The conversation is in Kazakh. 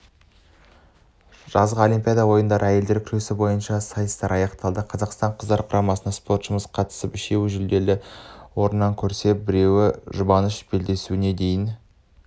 жазғы олимпиада ойындарында әйелдер күресі бойынша сайыстар аяқталды қазақстан қыздар құрамасынан спортшымыз қатысып үшеуі жүлделі орыннан көрінсе біреуі жұбаныш белдесуіне дейін